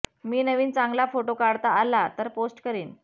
मी नवीन चांगला फोटो काढता आला तर पोस्ट करीन